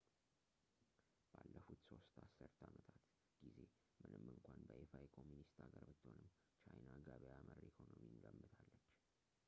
ባለፉት ሦስት አስርተ አመታት ጊዜ ምንም እንኳን በይፋ የኮሚኒስት ሀገር ብትሆንም ቻይና ገበያ መር ኢኮኖሚን ገንብታለች